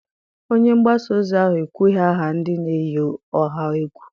Onye mgbasa ozi ahụ ekwughị aha ndị na-eyi ọha egwu.